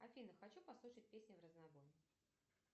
афина хочу послушать песни в разнобой